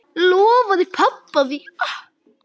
Lofaði pabba því.